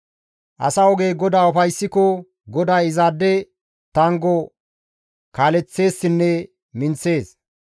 Asa ogey GODAA ufayssiko GODAY izaade tanggo kaaleththeessinne minththees.